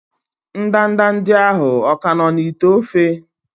ndanda ndị ahụ ka nọ n'ite ofe?